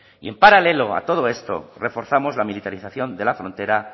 y en paralelo a todo esto reforzamos la militarización de la frontera